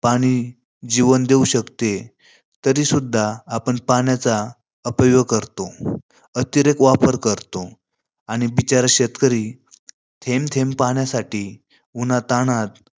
पाणी जीवन देऊ शकते. तरी सुद्धा आपण पाण्याचा अपव्यय करतो. अतिरेक वापर करतो. आणि बिचारा शेतकरी थेंब थेंब पाण्यासाठी उन्हातानात